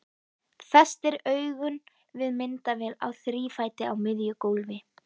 Festir augun við myndavél á þrífæti á miðju gólfi.